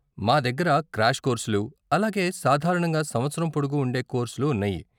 మా దగ్గర క్రాష్ కోర్సులు, అలాగే సాధారణంగా సంవత్సరం పొడుగు ఉండే కోర్సులు ఉన్నాయి.